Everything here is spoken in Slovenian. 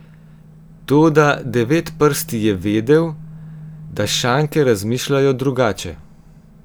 Toda Devetprsti je vedel, da šanke razmišljajo drugače.